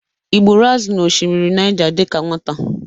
Ị gburu azụ n'osimiri Nịaja dịka nwata?